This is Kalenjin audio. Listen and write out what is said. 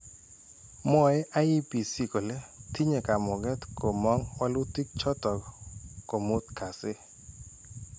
Mwoe IEBC kole tinye kamung'et komong' walutik chotok komuut kasi.